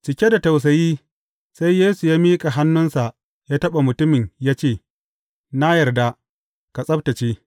Cike da tausayi, sai Yesu ya miƙa hannunsa ya taɓa mutumin ya ce, Na yarda, ka tsabtacce!